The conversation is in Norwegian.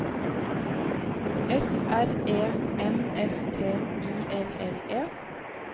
F R E M S T I L L E